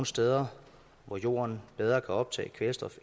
steder hvor jorden bedre kan optage kvælstof